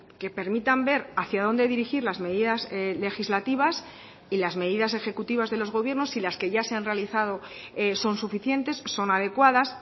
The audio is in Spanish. que permitan ver hacia dónde dirigir las medidas legislativas y las medidas ejecutivas de los gobiernos si las que ya se han realizado son suficientes son adecuadas